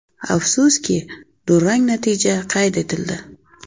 Afsuski, durang natija qayd etildi.